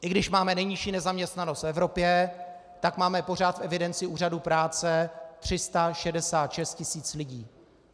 I když máme nejnižší nezaměstnanost v Evropě, tak máme pořád v evidenci úřadů práce 366 tisíc lidí.